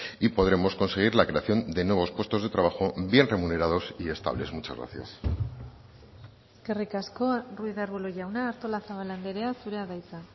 y podremos conseguir la creación de nuevos puestos de trabajo bien remunerados y estables muchas gracias eskerrik asko ruiz de arbulo jauna artolazabal andrea zurea da hitza